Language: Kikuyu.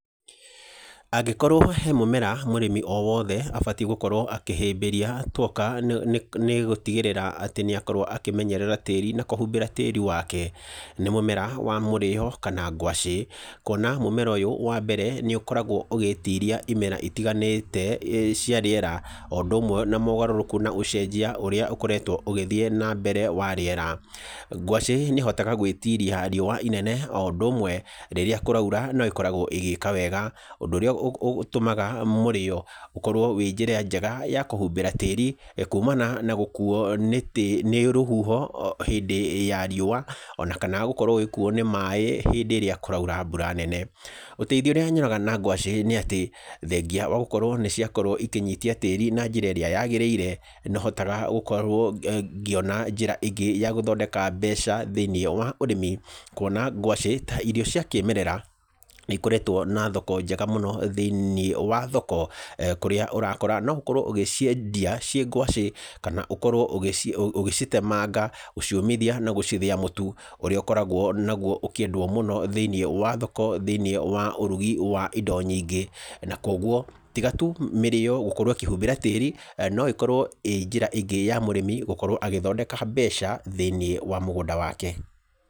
Angĩkorwo he mũmera mũrĩmi o wothe abatiĩ gũkorwo akĩhĩmbĩria twoka nĩ gũtigĩrĩra atĩ nĩ akorwo akĩmenyerera tĩĩri na kũhumbĩra tĩĩri wake nĩ mũmera wa mũrio kana ngwacĩ, kwona mũmera ũyũ wa mbere nĩ ũkoragwo ũgĩtiria imera itiganĩte cia rĩera, o ũndũ ũmwe na ũgarũrũku na ũcenjia ũrĩa ũkoretwo ũgĩthiĩ na mbere wa rĩera. Ngwacĩ nĩ ĩhotaga gwĩtiria rĩũa inene o ũndũ ũmwe rĩrĩa kũraura no ĩkoragwo ĩgĩka wega, ũndũ ũrĩa ũtũmaga mũrĩĩo ũkorwo wĩ njĩra njega ya kũhumbĩra tĩĩri kumana na gũkuuo nĩ rũhuho hĩndĩ ya rĩũa, ona kana gũkorwo ũgĩkuuo nĩ maaĩ hĩndĩ ĩrĩa kũraura mbura nene. Ũteithio ũrĩa nyonaga na ngwacĩ nĩ atĩ, thengia wa gũkorwo nĩ ciakorwo ikĩnyitia tĩĩri na njĩra ĩrĩa yagĩrĩire, no hotaga gũkorwo ngĩona njĩra ĩngĩ ya gũthondeka mbeca thĩ-inĩ wa ũrĩmi, kwona ngwacĩ ta irio cia kĩmerera ni ĩkoretwo na thoko njega mũno thĩ-inĩ wa thoko, kũrĩa ũrakora no ũkorwo ũgĩciendia ciĩ ngwacĩ, kana ũkorwo ũgĩcitemanga, gũciũmithia na gũcithĩa mũtu ũrĩa ũkoragwo naguo ũkĩendwo mũno thĩ-ini wa thoko, thĩ-inĩ wa ũrugi wa indo nyingĩ. Na kogwo, tiga tu mĩrĩĩo gũkorwo ĩkĩhumbĩra tĩĩri, no ĩkorwo ĩĩ njĩra ĩngĩ ya mũrĩmi gũkorwo agĩthondeka mbeca thĩ-inĩ wa mũgũnda wake.